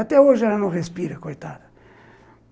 Até hoje ela não respira, coitada.